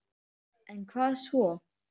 En hvað svo??